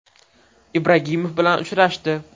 Ibragimov bilan uchrashdi.